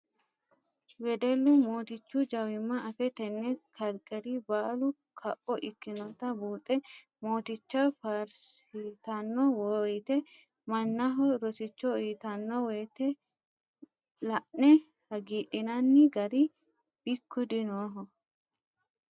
Weddellu mootichu jawima affe tene kalqeri baallu kapho ikkinotta buuxe mooticha faarsittano woyte mannaho rosicho uyittano woyte la'ne hagiidhinanni gari bikku dinoho.